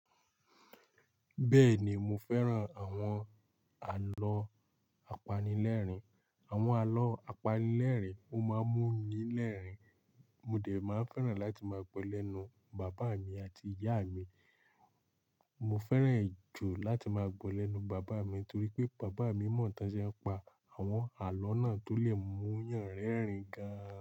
Bẹ́ẹ̀ni mo fẹ́ràn àwọn àlọ́ apanilẹ́rìn. Àwọn àlọ́ apanilẹ́rìn máa ń mú mi lẹ́rìn, mo dẹ̀ máa n fẹ́ràn láti máa gbọ́ lẹ́nu bàbáa mi àti ìyáa mi. Mo fẹ́ràn e jù láti máa gbọ́ lẹ́nu bàbáa mi torí pé bàbaá mi mọ̀ tán ṣe ń pa àwọn àlọ́ náà tó lè mú yàn rẹ́rìn gan.